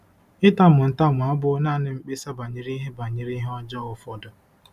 Ịtamu ntamu abụghị nanị mkpesa banyere ihe banyere ihe ọjọọ ụfọdụ.